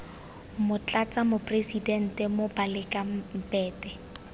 motlatsa moporesitente moh baleka mbete